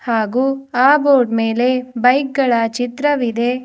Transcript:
ಹಾಗೂ ಆ ಬೋರ್ಡ್ ಮೇಲೆ ಬೈಕ್ ಗಳ ಚಿತ್ರವಿದೆ.